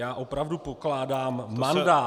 Já opravdu pokládám mandát -